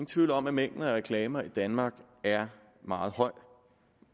tvivl om at mængderne af reklamer i danmark er meget høj